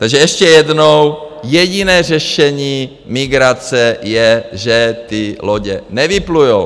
Takže ještě jednou: jediné řešení migrace je, že ty lodě nevyplujou.